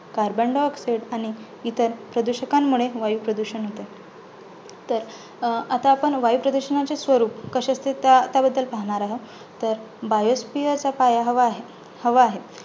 Carbon diaoxide आणि इतर प्रदुषकांमुळे वायूप्रदूषण होते, तर आता आपण वायुप्रदुषणांचे स्वरूप कसे असते? त्या त्याबद्दल पाहणार आहोत, तर biosphere चा पाय हवा हवा आहे.